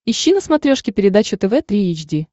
ищи на смотрешке передачу тв три эйч ди